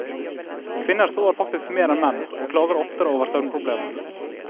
Kvinner sover faktisk mer enn menn og klager oftere over søvnproblemer.